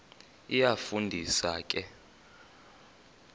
iyafu ndisa ke